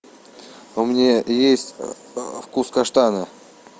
у меня есть вкус каштана